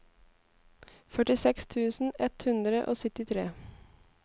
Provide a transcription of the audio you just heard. førtiseks tusen ett hundre og syttitre